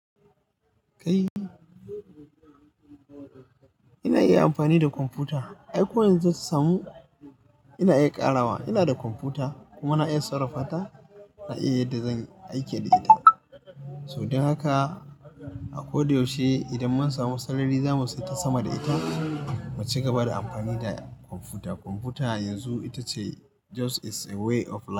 Kai, ina iya amfani da kwamfuta. Ai ko yanzu ta samu ina iya ƙarawa. Ina da kwamfuta kuma na iya sarrafa ta, na iya yadda zan aike da ita. So dan haka a ko da yaushe idan mun samu sarari za mu sai ta sama da ita mu ci gaba da amfani da kwamfuta. Kwamfuta yanzu ita ce just is a way of life.